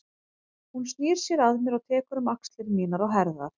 Hún snýr sér að mér og tekur um axlir mínar og herðar.